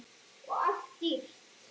Og allt dýrt.